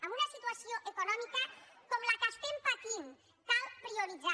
amb una situació econòmica com la que estem patint cal prioritzar